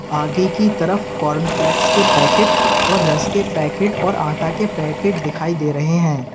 आगे की तरफ कॉर्नफ्लेक्स के पैकेट और रस के पैकेट और आटा के पैकेट दिखाई दे रहे हैं।